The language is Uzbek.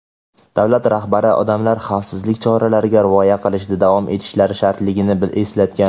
davlat rahbari odamlar xavfsizlik choralariga rioya qilishda davom etishlari shartligini eslatgan.